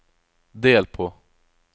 del på